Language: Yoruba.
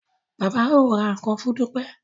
Bàbá o rà nkán fún Dupe.